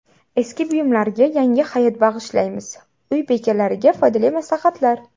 Eski buyumlarga yangi hayot bag‘ishlaymiz: uy bekalariga foydali maslahatlar.